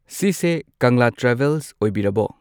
ꯁꯤꯁꯦ ꯀꯪꯂꯥ ꯇ꯭ꯔꯥꯚꯦꯜꯁ ꯑꯣꯏꯕꯤꯔꯕꯣ꯫